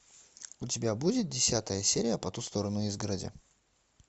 у тебя будет десятая серия по ту сторону изгороди